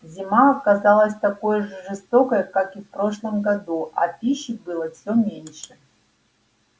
зима оказалась такой же жестокой как и в прошлом году а пищи было все меньше